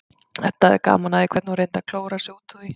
Edda hafði gaman af því hvernig hún reyndi að klóra sig út úr því.